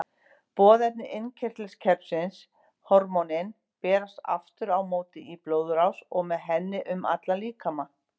Boðefni innkirtlakerfisins, hormónin, berast aftur á móti í blóðrás og með henni um allan líkamann.